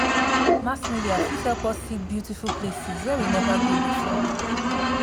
mass media fit help us see beautiful places wey we nova go before